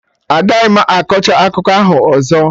Agaghị m akọcha akụkọ ahụ ọzọ!